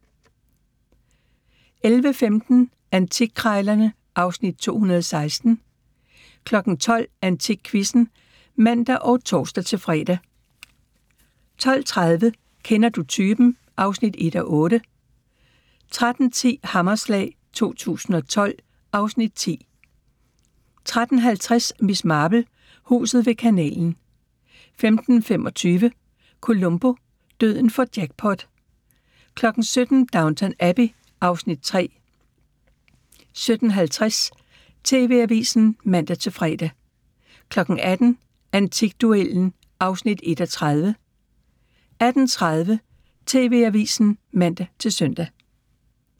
11:15: Antikkrejlerne (Afs. 216) 12:00: AntikQuizzen (man og tor-fre) 12:30: Kender du typen? (1:8) 13:10: Hammerslag 2012 (Afs. 10) 13:50: Miss Marple: Huset ved kanalen 15:25: Columbo: Døden får jackpot 17:00: Downton Abbey (Afs. 3) 17:50: TV-avisen (man-fre) 18:00: Antikduellen (1:30) 18:30: TV-avisen (man-søn)